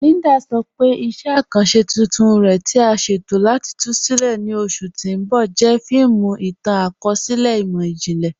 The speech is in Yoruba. Líndà sọ pé iṣẹ̀ akanṣẹ tuntun rẹ̀, tí à sẹ̀tọ̀ láti tú sílẹ̀ ní oṣù tì n bọ̀, jẹ́ fíìmù ìtàn-akọọlẹ̀ imọ̀jìnlẹ̀.